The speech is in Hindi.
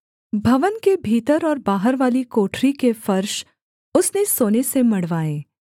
भवन के भीतर और बाहरवाली कोठरी के फर्श उसने सोने से मढ़वाए